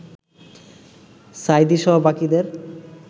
সাঈদীসহ বাকিদের